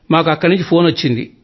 మాకు అక్కడి నుంచి ఫోన్ వచ్చింది